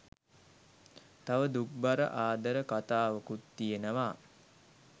තව දුක්බර ආදර කතාවකුත් තියෙනවා